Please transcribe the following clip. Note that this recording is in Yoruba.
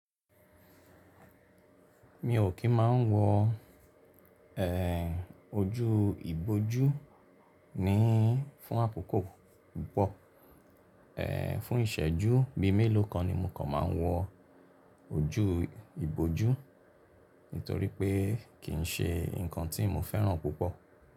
Mi ò kí n máa ń wọ, ẹ́, ojú ìbójú níí fún àkòkò púpọ̀. Ẹ́, fún ìṣẹ́jú bí i mélòó kan ni mò kàn máa ń wọ ojú ìbójú, nítorí pé kì í ṣe nǹkan tí mo fẹ́ràn púpọ̀.